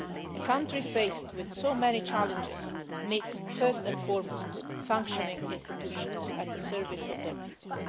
A country faced with so many challenges needs first and foremost functioning institutions at the service of their people.